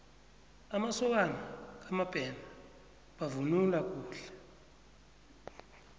amasokana kamabena bavunula kuhle